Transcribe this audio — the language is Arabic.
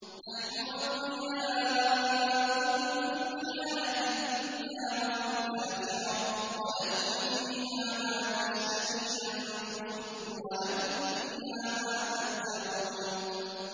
نَحْنُ أَوْلِيَاؤُكُمْ فِي الْحَيَاةِ الدُّنْيَا وَفِي الْآخِرَةِ ۖ وَلَكُمْ فِيهَا مَا تَشْتَهِي أَنفُسُكُمْ وَلَكُمْ فِيهَا مَا تَدَّعُونَ